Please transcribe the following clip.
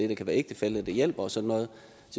der kan være ægtefælle der hjælper og sådan noget